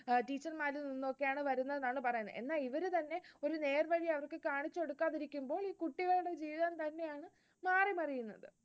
teacher മാരിൽ നിന്ന് ഒക്കെയാണ് വരുന്നത് എന്നാണ് പറയുന്നത്. എന്നാൽ ഇവരു തന്നെ ഒരു നേർവഴി അവർക്ക് കാണിച്ചു കൊടുക്കാതെ ഇരിക്കുമ്പോൾ, കുട്ടികളുടെ ജീവിതം തന്നെയാണ് മാറിമറിയുന്നത്